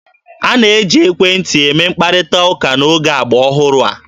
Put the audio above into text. A na-eji ekwentị eme mkparịta ụka n'oge agba ọhụrụ a.